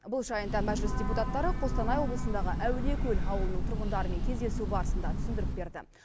бұл жайында мәжіліс депутаттары қостанай облысындағы әулиекөл ауылының тұрғындарымен кездесу барысында түсіндіріп берді